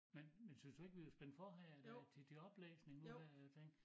Men men synes du ikke vi var spændt for her i dag til det oplæsning nu her jeg tænkte